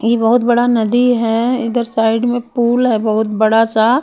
ये बहुत बड़ा नदी है इधर साईड में पूल है बहुत बड़ा सा.